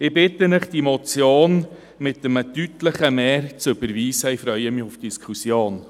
Ich bitte Sie, diese Motion mit einer deutlichen Mehrheit zu überweisen, und freue mich auf die Diskussion.